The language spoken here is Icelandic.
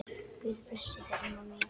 Guð blessi þig, amma mín.